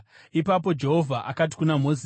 Ipapo Jehovha akati kuna Mozisi,